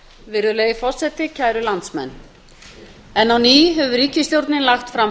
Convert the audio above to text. virðulegi forseti kæru landsmenn enn á ný hefur ríkisstjórnin lagt fram